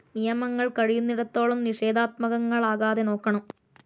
നിയമങ്ങൾ കഴിയുന്നിടത്തോളം നിഷേധാത്മകങ്ങളാകാതെ നോക്കണം.